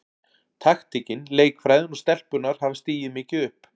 Taktíkin, leikfræðin og stelpurnar hafa stigið mikið upp.